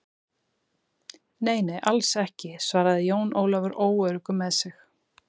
Nei, nei, alls ekki, svaraði Jón Ólafur óöruggur með sig.